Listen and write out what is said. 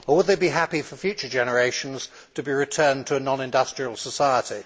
Or would they be happy for future generations to be returned to a non industrial society?